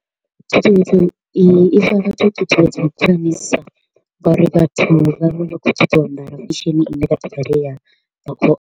Thikhedzo iyi i thikhedzo dza u ngauri vhathu vha vha kho u ṱoḓa u ambara fashion i ne ya .